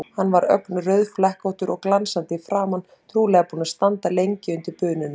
Hann var ögn rauðflekkóttur og glansandi í framan, trúlega búinn að standa lengi undir bununni.